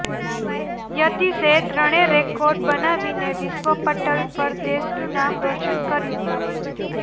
યતીશે ત્રણે રેકોર્ડ બનાવીને વિશ્વ પટલ પર દેશનું નામ રોશન કર્યું